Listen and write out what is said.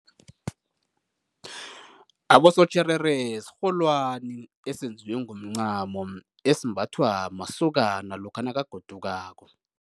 Abosotjherere sirholwani esenziwe ngomncamo, esimbathwa masokana lokha nakagodukako.